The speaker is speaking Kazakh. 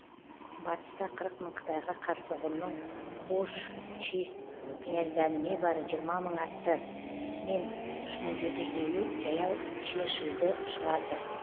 батыста қырық мың қытайға қарсы ғұнның хучжи князьдері не бары жиырма мың атты мен үш мың жеті жүз елу жаяу чешиді шығарды